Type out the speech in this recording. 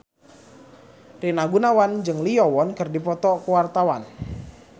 Rina Gunawan jeung Lee Yo Won keur dipoto ku wartawan